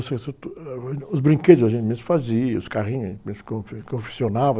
isso tudo. Os brinquedos a gente mesmo fazia, os carrinhos a gente mesmo, confe, confeccionava.